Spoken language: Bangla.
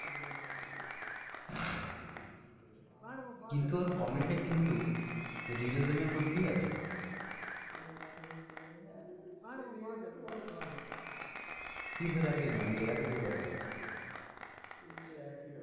কিন্তু ওর comedy টা কিন্তু realism এর মধ্যেই আছে। ফির হেরফেরি নয় আমি হেরফেরির কথা বলছি।